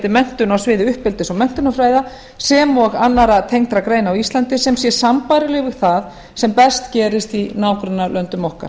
menntun á sviði uppeldis og menntunarfræða sem og annarra tengdra greina á íslandi sem sé sambærileg við það sem best gerist í nágrannalöndum okkar